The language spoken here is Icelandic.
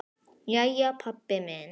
Jæja, pabbi minn.